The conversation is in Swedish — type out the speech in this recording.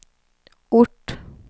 ort